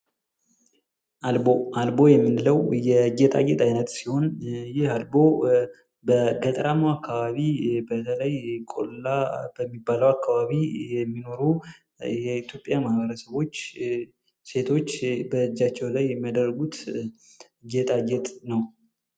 አልቦ አልቦ የምንለው የጌጣጌጥ አይነት ሲሆን፤ ይህ አልቦ በገጠራማው አካባቢ በተለይ ቆላ በሚባለው አካባቢ የሚኖሩ የኢትዮጵያ ማኅበረሰቦች ሴቶች በእጃቸው ላይ የሚያደርጉት ጌጣጌጥ ነው።